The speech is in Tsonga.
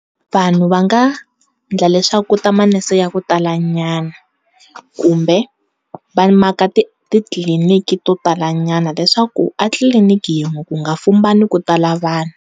Vanhu va nga endla leswaku ku ta manese ya ku talanyana kumbe va maka titliliniki to talanyana leswaku a tliliniki yin'we ku nga fumbani ku tala vanhu.